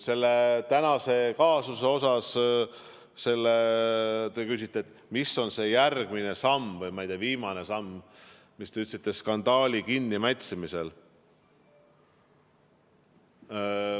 Selle tänase kaasuse kohta te küsite, mis on see järgmine samm või, ma ei tea, viimane samm skandaali kinnimätsimisel.